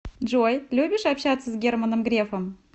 джой любишь общаться с германом грефом